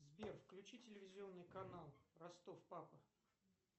сбер включи телевизионный канал ростов папа